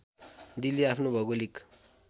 दिल्ली आफ्नो भौगिलिक